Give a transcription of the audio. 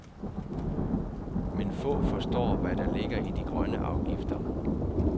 Men få forstår, hvad der ligger i de grønne afgifter.